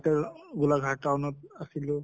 তʼ গোলাঘাট town ত আছিলোঁ